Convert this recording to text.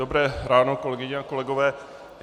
Dobré ráno, kolegyně a kolegové.